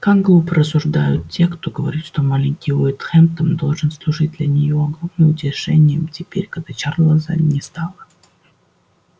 как глупо рассуждают те кто говорит что маленький уэйд хэмптон должен служить для нее огромным утешением теперь когда чарлза не стало